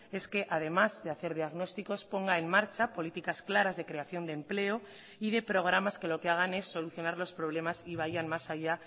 es que además de hacer diagnósticos ponga en marcha políticas claras de creación de empleo y de programas que lo que hagan es solucionar los problemas y vayan más allá